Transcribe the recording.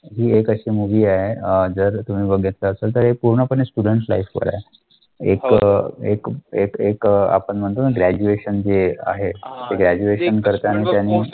ही एक अशी movie आहे अं जर तुम्ही बघितलं असेल तर हे पूर्णपणे students life वर आहे. एक अं एक एक एक आपण म्हणतो ना graduation जे आहे graduation करताना समोर